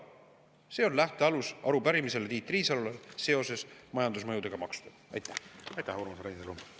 See on lähtealus arupärimisele Tiit Riisalole.